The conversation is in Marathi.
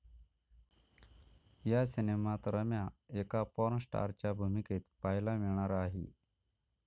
या सिनेमात रम्या एका पॉर्न स्टारच्या भूमिकेत पाहायला मिळणार आहे.